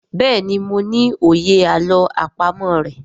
béèni mo ní òye àlọ́ àpamọ̀ rẹ.